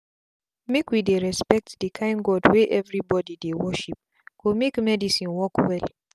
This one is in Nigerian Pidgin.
make we dey respect the kind god wey everybody dey worship go makemedicine work well.